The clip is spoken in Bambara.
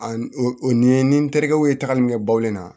A n o ni n terikɛw ye tagali min kɛ baw ɲɛ na